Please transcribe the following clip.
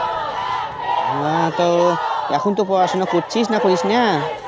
হ্যাঁ তো এখন তো পড়াশোনা করছিস না কি করিস না?